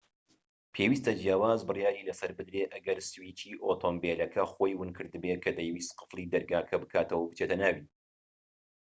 پێویستە جیاواز بڕیاری لەسەر بدرێت ئەگەر سویچی ئۆتۆمبیلەکەی خۆی ونکردبێت کە دەیویست قفڵی دەرگاکە بکاتەوە و بچێتە ناوی